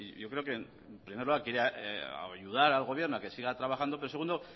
yo creo que en primer lugar quería ayudar al gobierno a que siga trabajando pero segundo